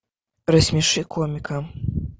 рассмеши комика